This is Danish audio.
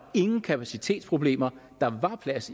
ingen kapacitetsproblemer der var plads